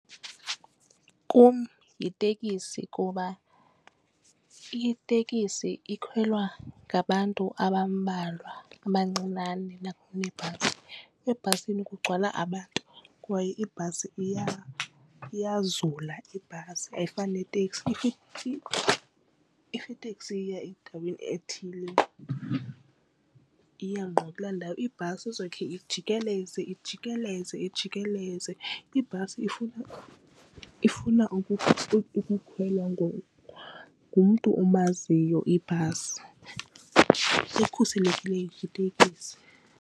Kum yitekisi kuba itekisi ikhwela ngabantu abambalwa abancinane nakunebhasi. Ebhasini kugcwala abantu kwaye ibhasi iyazula ibhasi ayifani neteksi. If iteksi iya endaweni ethile iya ngqo kula ndawo. Ibhasi izawukhe ijikeleze ijikeleze ijikeleze, ibhasi ifuna ukukhwelwa ngumntu omaziyo ibhasi ekhuselekile yitekisi.